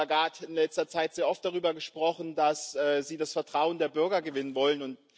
Sie, Frau Lagarde, haben in letzter Zeit sehr oft darüber gesprochen, dass Sie das Vertrauen der Bürger gewinnen wollen.